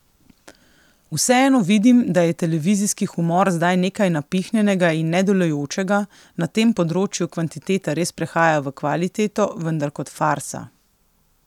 Vseeno vidim, da je televizijski humor zdaj nekaj napihnjenega in nedelujočega, na tem področju kvantiteta res prehaja v kvaliteto, vendar kot farsa.